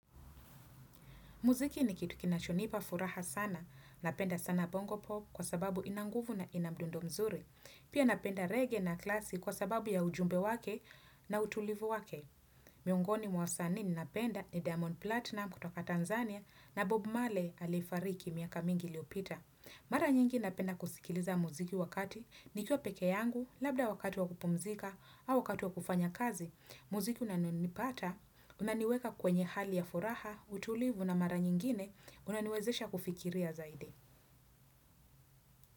Muziki ni kitu kinachonipa furaha sana, napenda sana bongo pop kwa sababu ina nguvu na ina mdundo mzuri. Pia napenda reggae na klasi kwa sababu ya ujumbe wake na utulivu wake. Miongoni mwa wasanii ninapenda ni Diamond Platinumz kutoka Tanzania na Bob Marley aliyefariki miaka mingi iliopita. Mara nyingi napenda kusikiliza muziki wakati nikiwa peke yangu labda wakati wa kupumzika au wakati wa kufanya kazi. Muziki unaonipata unaniweka kwenye hali ya furaha, utulivu na mara nyingine, unaniwezesha kufikiria zaidi.